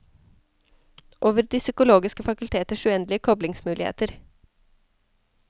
Over de psykologiske fakulteters uendelige koblingsmuligheter.